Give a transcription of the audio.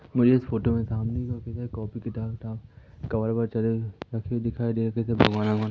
मुझे इस फोटो में सामने की ओर कापी सारे कॉपी किताब विताब कवर वावर चढ़ाए हुए दिखाई दे रहे है। --